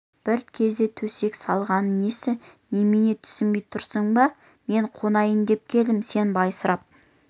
бір кезде төсек салғаны несі немене түсінбей тұрсың ба мен қонайын деп келдім сен байсырап